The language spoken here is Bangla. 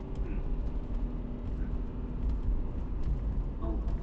স্যার আপনি কত পাউন্ডের চাইছেন তা নাকি এইসব পাউনড চাই